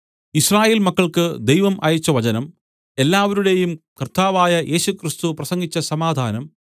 യിസ്രായേൽ മക്കൾക്ക് ദൈവം അയച്ചവചനം എല്ലാവരുടെയും കർത്താവായ യേശുക്രിസ്തു പ്രസംഗിച്ച സമാധാനം